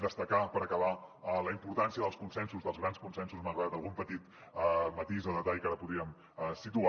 destacar per acabar la importància dels consensos dels grans consensos malgrat algun petit matís de detall que ara podríem situar